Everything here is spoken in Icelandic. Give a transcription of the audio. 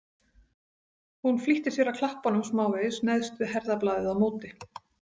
Hún flýtti sér að klappa honum smávegis neðst við herðablaðið á móti.